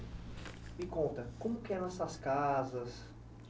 Me conta, como é que eram essas casas?